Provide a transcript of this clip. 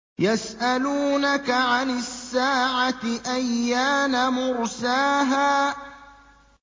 يَسْأَلُونَكَ عَنِ السَّاعَةِ أَيَّانَ مُرْسَاهَا